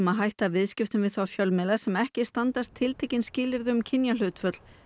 að hætta viðskiptum við þá fjölmiðla sem ekki standast tiltekin skilyrði um kynjahlutföll